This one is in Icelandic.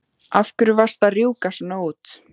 Af hverju varstu að rjúka svona út?